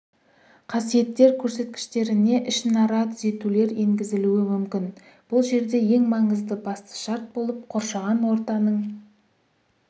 қасиеттер көрсеткіштеріне ішінара түзетулер енгізілуі мүмкін бұл жерде ең маңызды басты шарт болып қоршаған ортаның